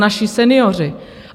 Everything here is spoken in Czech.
Naši senioři.